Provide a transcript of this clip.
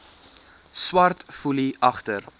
swart foelie agter